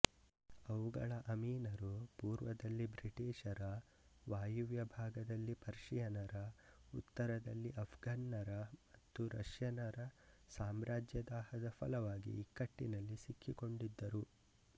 ಅವುಗಳ ಅಮೀನರು ಪೂರ್ವದಲ್ಲಿ ಬ್ರಿಟಿಷರ ವಾಯವ್ಯ ಭಾಗದಲ್ಲಿ ಪರ್ಷಿಯನರ ಉತ್ತರದಲ್ಲಿ ಆಫ್ಘನ್ನರ ಮತ್ತು ರಷ್ಯನರ ಸಾಮ್ರಾಜ್ಯದಾಹದ ಫಲವಾಗಿ ಇಕ್ಕಟ್ಟಿನಲ್ಲಿ ಸಿಕ್ಕಿಕೊಂಡಿದ್ದರು